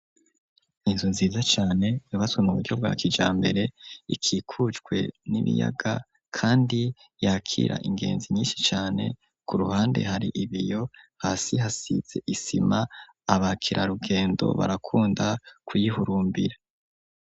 Inzu nziza cane yubatswe mu buryo bwa kijambere ikikujwe n'ibiyaga kandi yakira ingenzi nyinshi cane ku ruhande hari ibiyo hasi hasize isima abakira rugendo barakunda kuyihurumbira.